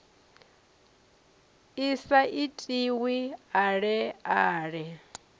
i sa itiwe ale ale